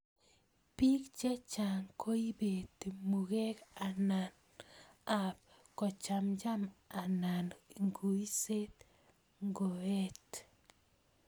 Pik chechang koibeti mugek ap kochamcham anan nguiset ngoet.